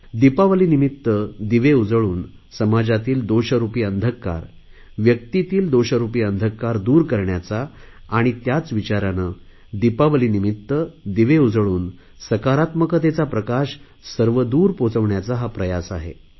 दिपावलीनिमित्त दिवे उजळून समाजातील दोषरुपी अंधकार व्यक्तींतील दोषरुपी अंधकार दूर करण्याचा आणि त्याच विचाराने दिपावलीनिमित्त दिवे उजळून सकारात्मकतेचा प्रकाश सर्वदूर पोहोचवण्याचा हा प्रयास आहे